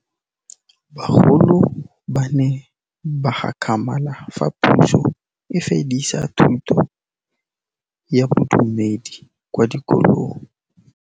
Bagolo ba ne ba gakgamala fa Pusô e fedisa thutô ya Bodumedi kwa dikolong.